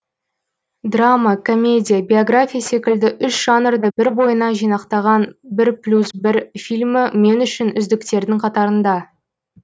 драма комедия биография секілді үш жанрды бір бойына жинақтаған бір плюс бір фильмі мен үшін үздіктердің қатарында